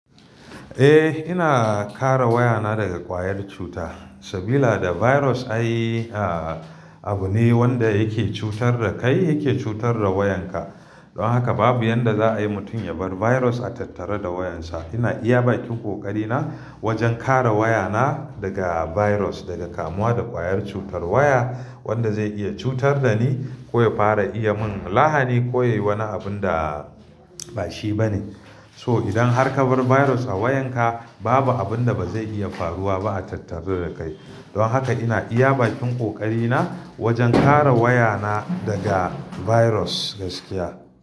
Eh, ina kare wayana daga ƙwayar cuta. Sabila da virus ayi, ah, abu ne wanda yake cutar da kai yake cutar da wayanka. Don haka babu yadda za a yi mutum ya bar virus a tattare da wayansa. Ina iya ba kin ƙoƙari na wajen kare wayana daga virus, daga kamuwa da ƙwayar cutar waya wanda zai iya cutar da ni ko ya fara iya min lahani ko ya yi wani abun da ba shi ba ne. So idan har ka bar virus a wayanka, babu abun da ba zai iya faruwa ba a tattare da kai. Don haka ina iya bakin ƙoƙari na wajen kare wayana daga virus gaskiya.